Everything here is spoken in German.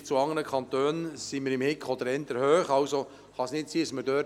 Im Vergleich zu anderen Kantonen befinden wir uns im Durchschnitt oder eher etwas höher.